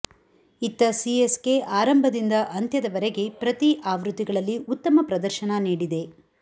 ಇತ್ತ ಸಿಎಸ್ಕೆ ಆರಂಭದಿಂದ ಅಂತ್ಯದ ವರೆಗೆ ಪ್ರತಿ ಆವೃತ್ತಿಗಳಲ್ಲಿ ಉತ್ತಮ ಪ್ರದರ್ಶನ ನೀಡಿದೆ